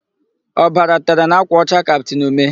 Ọbara tere n'ákwà ọcha kaptịn Ume.